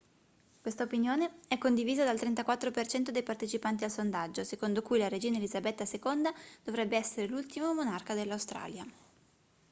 questa opinione è condivisa dal 34% dei partecipanti al sondaggio secondo cui la regina elisabetta ii dovrebbe essere l'ultimo monarca dell'australia